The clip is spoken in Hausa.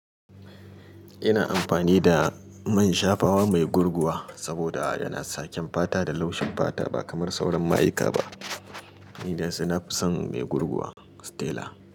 Ina amfani da man shafawa mai gurguwa saboda yana sa kyan fata da laushin fata ba kamar sauran mayuka ba. Ni dai sai ni fi san mai gurguwa Stella.